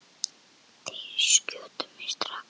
Eða þeir skjóta mig strax.